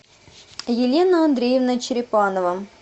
елена андреевна черепанова